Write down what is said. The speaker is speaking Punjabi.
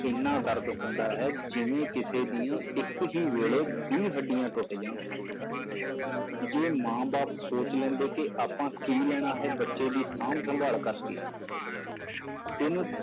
ਇੰਨਾ ਦਰਦ ਹੁੰਦਾ ਹੈ ਜਿਵੇਂ ਕਿਸੇ ਦੀਆਂ ਇੱਕ ਹੀ ਵੇਲੇ ਵੀਹ ਹੱਡੀਆਂ ਟੁੱਟ ਜਾਣ ਜੇ ਮਾਂ ਬਾਪ ਸੋਚ ਲੈਂਦੇ ਕਿ ਆਪਾਂ ਕੀ ਲੈਣਾ ਹੈ ਬੱਚੇ ਦੀ ਸਾਂਭ ਸੰਭਾਲ ਕਰਕੇ ਇਹਨੂੰ